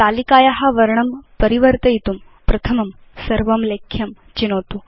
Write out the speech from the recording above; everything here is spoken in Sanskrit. तालिकाया वर्णं परिवर्तयितुं प्रथमं सर्वं लेख्यं चिनोतु